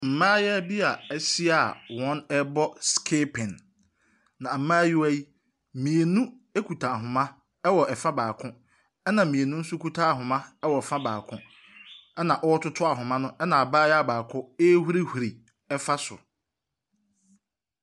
Mmayewa bi a wɔahyia a wɔrebɔ skipping, na mmayewa yi, mmienu kuta ahoma wɔ fa baako, ɛnna mmienu nso kuta ahoma wɔ fa baako, ɛnna wɔretoto ahoma, ɛnna abayewa baako rehuruhuru fa so.